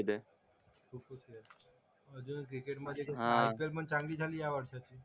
म्हणजे क्रिकेट मधे पण